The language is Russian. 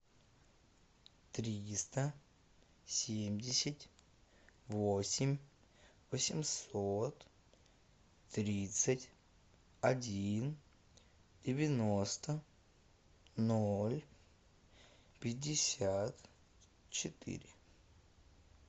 триста семьдесят восемь восемьсот тридцать один девяносто ноль пятьдесят четыре